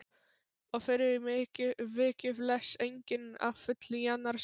Og fyrir vikið les enginn að fullu í annars hug.